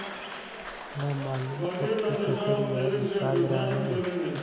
न मालूम कब की कसर यह निकाल रहा है